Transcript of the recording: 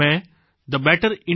મેં thebetterindia